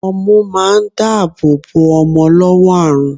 Ọmú ma ń dáàbò bò ọmọ lọ́wọ́ àrùn.